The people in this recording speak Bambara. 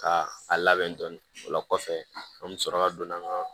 Ka a labɛn dɔɔnin ola kɔfɛ an bɛ sɔrɔ ka don an ka